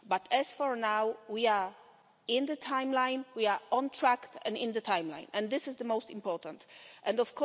But for now, we are in the timeline, we are on track and in the timeline, and this is the most important thing.